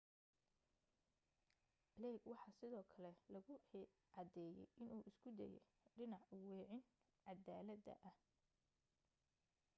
blake waxaa sidoo kale lagu cadeeye inuu isku dayay dhinac u weecin cadaalada ah